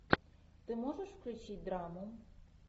ты можешь включить драму